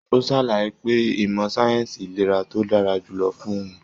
O sàlàyé pé ìmọ sáyẹnsì ìlera ló dára jùlọ fún òun.